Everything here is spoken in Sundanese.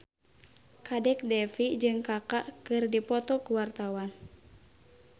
Kadek Devi jeung Kaka keur dipoto ku wartawan